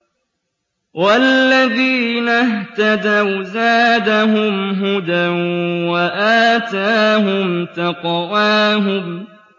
وَالَّذِينَ اهْتَدَوْا زَادَهُمْ هُدًى وَآتَاهُمْ تَقْوَاهُمْ